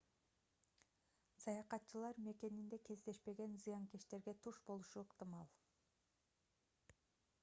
саякатчылар мекенинде кездешпеген зыянкечтерге туш болушу ыктымал